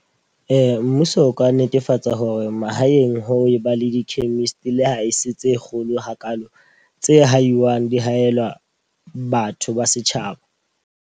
Ee, mmuso o ka netefatsa hore mahaeng ho e ba le di-chemist le ha e se tse kgolo hakaalo. Tse haiwang di haelwa batho ba setjhaba.